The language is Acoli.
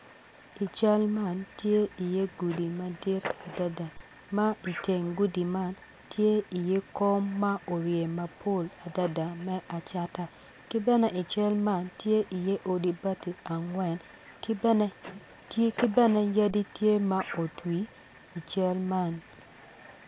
I cal man tye i ye gudi madit adada ma i teng gudi man tye iye kom ma orye mapol adada me acata kibene ical man tye i ye odi bati angwen ki bene yadi tye ma otwi i cal man.